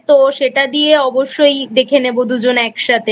তো সেটা দিয়ে অবশ্যই দেখে নেব দুজনে একসাথে।